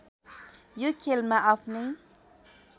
यो खेलमा आफ्नै